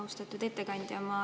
Austatud ettekandja!